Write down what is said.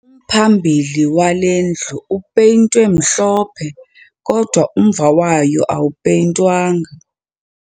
Umphambili wale ndlu upeyintwe mhlophe kodwa umva wayo awupeyintwanga